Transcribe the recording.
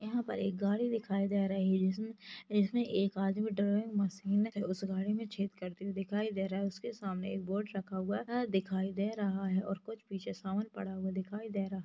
गाड़ी दिखाई दे रही जिसमे जिसमे एक आदमी डरे मशिने और छेद करते हुए दिखाई दे रहा है उसके सामने एक बोर्ड रखा हुआ है अ दिखाई दे रहा है और कुच्छ पिच्छे सामान पड़ा हुआ दिखाई दे रहा--